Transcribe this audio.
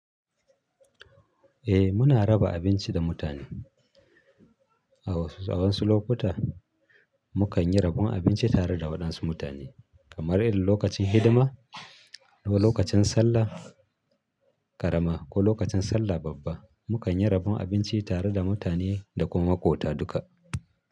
Eh muna raba abinci da mutane. A wasu lokuta mukan yi rabon abinci tare da waɗansu mutane kamar lokacin hidima ko lokacin Sallah ƙarama ko lokacin Sallah babba. Mukan yi rabon abinci tare da mutane da kuma makwabta duka.